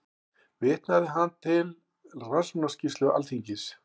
Vitnaði hann þar til Rannsóknarskýrslu Alþingis